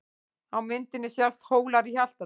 Á myndinni sjást Hólar í Hjaltadal.